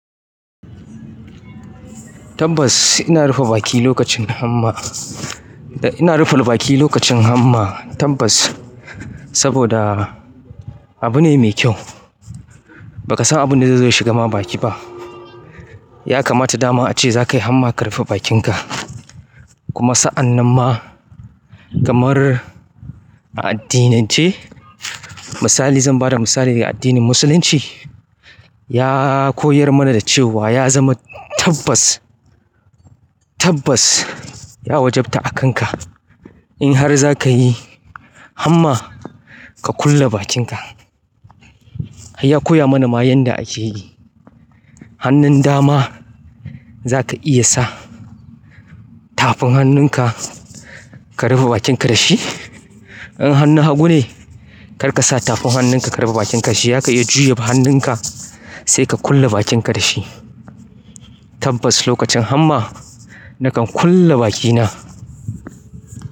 Tabbas ina rufe baki lokacin hamma. Ina rufe baki lokacin hamma tabbas, saboda abu ne mai kyau. Ba ka san abin da zai shigar ma baki ba. Ya kamata dama a ce za ka yi hamma ka rufe bakinka. Kuma sa'an nan ma kamar a addinance, misali zan ba da misali a addinin Musulunci, ya koyar mana da cewa ya zama tabbas, tabbas ya wajabta a kanka in har za ka yi hamma ka kulle bakinka. Ya koya mana ma yanda a ke yi. Hannun dama za ka iya sa tafin hannunka ka rufe bakinka da shi. In hannu hagu ne, kar ka sa tafin hannunka ka rufe bakinka da shi. Zaka iya juya hannunka sai ka kulle bakinka da shi. Tabbas lokacin hamma nakan kulle bakina.